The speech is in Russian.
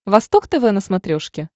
восток тв на смотрешке